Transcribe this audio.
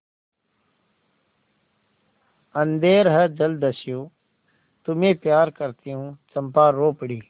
अंधेर है जलदस्यु तुम्हें प्यार करती हूँ चंपा रो पड़ी